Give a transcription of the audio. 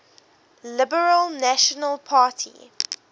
liberal national party